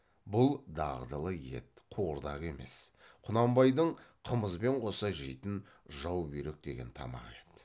бұл дағдылы ет қуырдақ емес құнанбайдың қымызбен қоса жейтін жаубүйрек деген тамағы еді